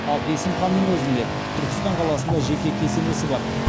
ал есім ханның өзінде түркістан қаласында жеке кесенесі бар